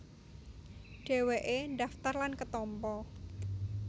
Dhèwèké ndhaftar lan ketampa